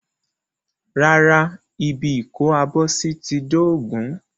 Rárá, ibi ìkó-abọ́sí ti dóògùn.